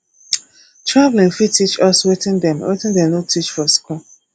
travelling fit teach us wetin dem wetin dem no teach for school